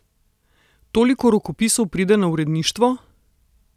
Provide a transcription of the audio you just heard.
Toliko rokopisov pride na uredništvo?